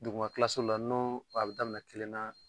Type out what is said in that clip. Duguma la nɔ a be daminɛ kelen na